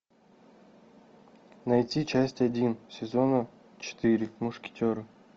найти часть один сезона четыре мушкетеры